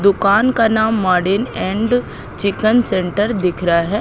दुकान का नाम मॉडेन एंड चिकन सेंटर दिख रहा है।